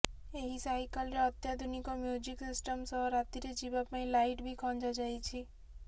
ଏହି ସାଇକେଲରେ ଅତ୍ୟାଧୁନିକ ମ୍ୟୁଜିକ ସିଷ୍ଟମ ସହ ରାତିରେ ଯିବା ପାଇଁ ଲାଇଟ୍ ବି ଖଞ୍ଜା ଯାଇଛି